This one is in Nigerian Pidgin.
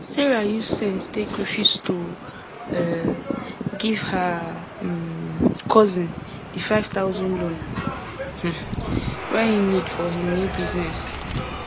sarah use sense take refuse to um give her um cousin di 5000 loan um wey he need for him new business